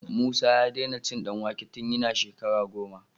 Musa ya dena cin dan wake tun yana shekara goma